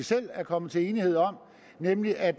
selv er kommet til enighed om nemlig at